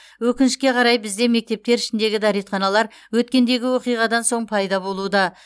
өкінішке қарай бізде мектептер ішіндегі дәретханалар өткендегі оқиғадан соң пайда болуда